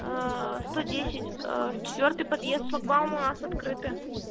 сто десять четвёртый подъезд шлагбаум у нас открыты